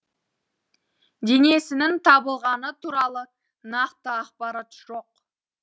денесінің табылғаны туралы нақты ақпарат жоқ